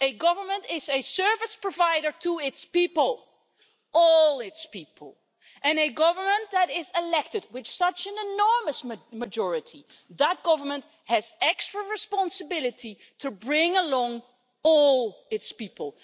A government is a service provider to its people all its people and a government that is elected with such an enormous majority has extra responsibility to bring along all its people.